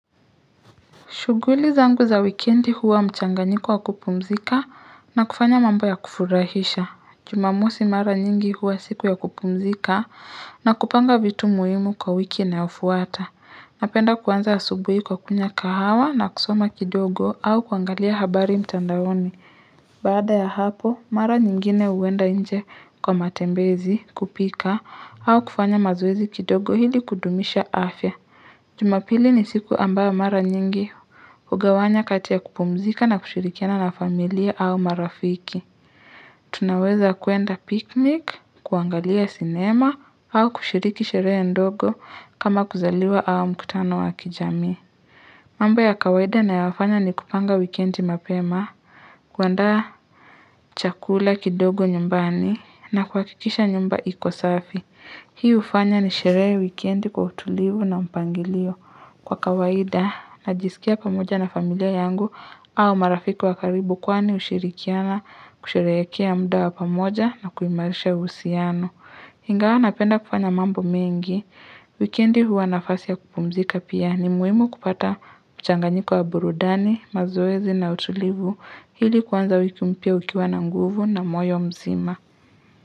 Shuguli zangu za wikendi huwa mchanganyiko wa kupumzika na kufanya mambo ya kufurahisha. Jumamosi mara nyingi huwa siku ya kupumzika na kupanga vitu muhimu kwa wiki inayofuata. Napenda kuanza asubui kwa kunywa kahawa na kusoma kidogo au kuangalia habari mtandaoni. Baada ya hapo, mara nyingine uwenda nje kwa matembezi kupika au kufanya mazoezi kidogo hili kudumisha afya. Jumapili ni siku ambao mara nyingi ugawanya kati ya kupumzika na kushirikiana na familia au marafiki. Tunaweza kuenda piknik, kuangalia sinema au kushiriki sheree ndogo kama kuzaliwa au mkutano wa kijami. Mambo ya kawaida nayafanya ni kupanga wikendi mapema, kuanda chakula kidogo nyumbani na kuakikisha nyumba ikosafi. Hii ufanya ni sheree wikendi kwa utulivu na mpangilio. Kwa kawaida, najisikia pamoja na familia yangu au marafiki wakaribu kwani ushirikiana kusherekea muda wa pamoja na kuimarisha usiano. Hingawa napenda kufanya mambo mengi. Wikendi huwa nafasi ya kupumzika pia ni muimu kupata mchanganyiko wa burudani, mazoezi na utulivu. Hili kwanza wiki mpia ukiwa na nguvu na moyo mzima.